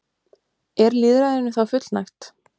Er lýðræðinu þá fullnægt?